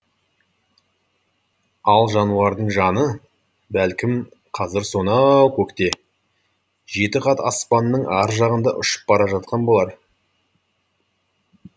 ал жануардың жаны бәлкім қазір сона а ау көкте жеті қат аспанның ар жағында ұшып бара жатқан болар